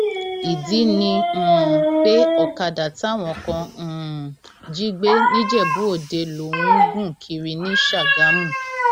ìdí ni um pé ọkadà táwọn kan um jí gbé nìjẹbùòde lòun ń gùn kiri ní ṣàgámù